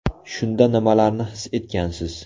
Shunda nimalarni his etgansiz?